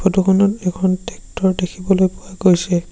Photo খনত এখন tractor দেখিবলৈ পোৱা গৈছে।